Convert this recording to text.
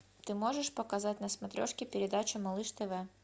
ты можешь показать на смотрешке передачу малыш тв